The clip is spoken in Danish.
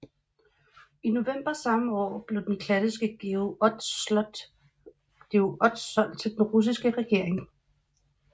I november samme år blev den klassiske Georg Ots solgt til den russiske regering